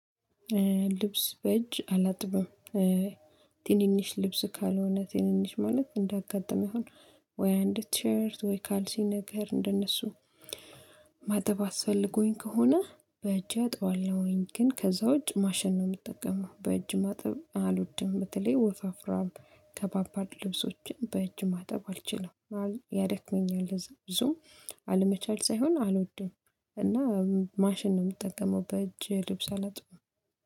ልብስ በእጅ አላጥብም። ትንንሽ ልብስ ካልሆነ ትንንሽ ማለት እንዳጋጣሚ አሁን ወይ አንድ ቲሸርት ወይ ካልሲ ነገር እንደነሱ። ማጠብ አስፈልጎኝ ከሆነ በእጅ አጣባለሁኝ ግን ከዛ ውጭ ማሸን ነው ምጠቀመው በእጅ ማጠብ አልወድም። በተለይ ወፋፍራም ከባባድ ልብሶችን በእጅ ማጠብ አልችልም። ያደክመኛል እዝ ዙም አለመቻል ሳይሆን አልወደውም። እና ማሽን ነው የምጠቀመው በእጅ ልብስ አላጥብም